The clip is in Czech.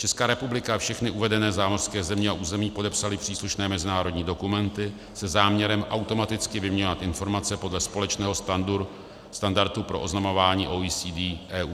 Česká republika a všechny uvedené zámořské země a území podepsaly příslušné mezinárodní dokumenty se záměrem automaticky vyměňovat informace podle společného standardu pro oznamování OECD EU.